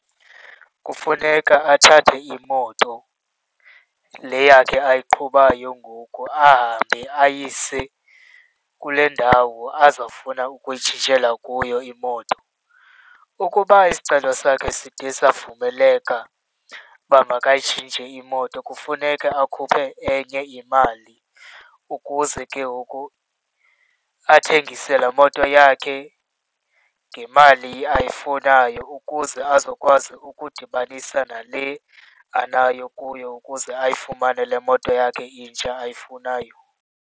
Kufuneka athathe imoto, le yakhe ayiqhubayo ngoku, ahambe ayise kule ndawo azawufuna ukuyitshintshela kuyo imoto. Ukuba isicelo sakhe side savumeleka uba makayitshintshe imoto, kufuneka akhuphe enye imali, ukuze ke ngoku athengise laa moto yakhe ngemali ayifunayo, ukuze azokwazi ukudibanisa nale anayo kuyo ukuze ayifumane le moto yakhe intsha ayifunayo.